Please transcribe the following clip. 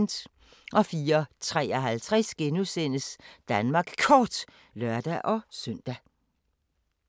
04:53: Danmark Kort *(lør-søn)